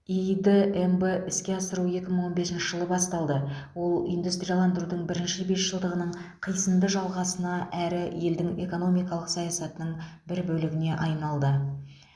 иид мб іске асыру екі мың он бесінші жылы басталды ол индустрияландырудың бірінші бесжылдығының қисынды жалғасына әрі елдің экономикалық саясатының бір бөлігіне айналды